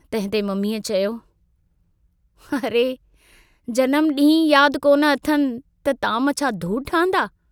तंहिंते मम्मीअ चयो, अरे जनमु डींहुं ई याद कोन अथनि त ताम छा धूड़ ठहंदा।